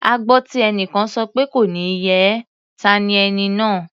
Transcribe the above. A gbọ́ tí ẹnìkan sọ pé "kò ní yẹ ẹ́" ta ni ẹni náà?